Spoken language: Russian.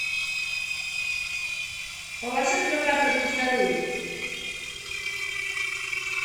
положи в заказ одну вторую